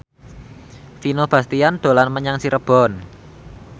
Vino Bastian dolan menyang Cirebon